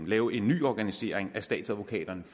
lave en ny organisering af statsadvokaterne